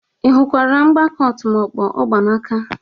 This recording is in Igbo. Ị hụkwara mgbaka ọtụmọkpọ ọ gba n'aka?